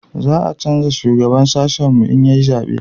za a canja shugaban sashin mu in an yi zabe